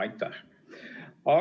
Aitäh!